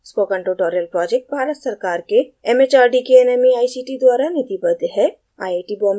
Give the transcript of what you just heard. spoken tutorial project Bharat सरकार के mhrd के nmeict द्वारा निधिबद्ध है